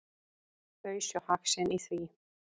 Þau sjá hag sinn í því.